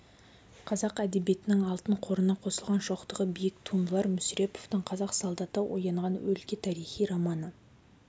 қазақ әдебиетінің алтын қорына қосылған шоқтығы биік туындылар мүсіреповтың қазақ солдаты оянған өлке тарихи романы